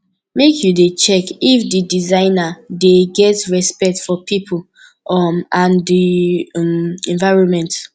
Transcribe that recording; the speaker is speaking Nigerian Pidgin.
make you dey check if di designer dey get respect for pipo um and di um environment